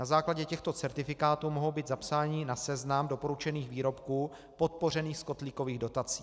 Na základě těchto certifikátů mohou být zapsáni na seznam doporučených výrobků podpořených z kotlíkových dotací.